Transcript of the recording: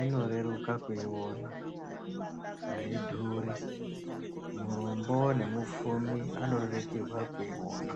inoreruka kuiona aidhuri murombo nemupfumi anorerukirwa kuiona.